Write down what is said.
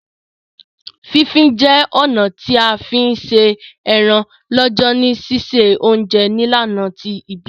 Fí fin je ọ̀nà ti a fi n se eran lọ́jọ̀ ni sise ounje nílànà ti ìbílẹ̀